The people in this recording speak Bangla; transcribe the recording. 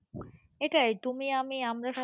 এটাই তুমি আমি আমরা সবাই,